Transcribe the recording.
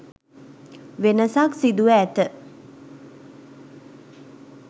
වෙනසක් සිදුව ඇත.